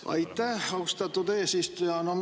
Aitäh, austatud eesistuja!